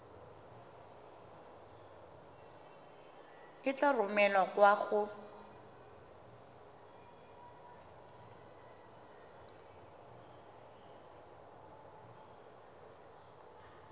e tla romelwa kwa go